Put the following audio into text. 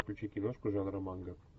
включи киношку жанра манга